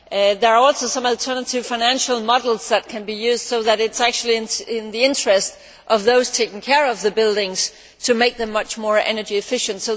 There are also some alternative financial models that can be used so that it would be in the interest of those taking care of the buildings to make them much more energy efficient.